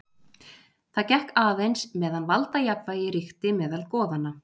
Það gekk aðeins meðan valdajafnvægi ríkti meðal goðanna.